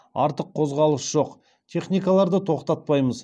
артық қозғалыс жоқ техникаларды тоқтатпаймыз